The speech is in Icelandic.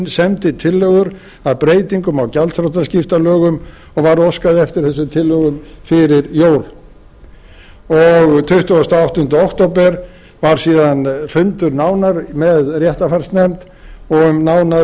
semdi tillögur að breytingum á gjaldþrotaskiptalögum og var óskað eftir þessum tillögum fyrir jól tuttugasta og áttunda október var síðan fundur nánar með réttarfarsnefnd og um nánari